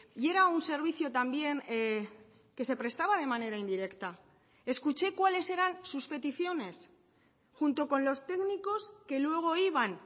y era un servicio también que se prestaba de manera indirecta escuché cuáles eran sus peticiones junto con los técnicos que luego iban